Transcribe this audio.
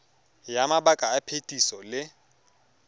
ya mabaka a phetiso le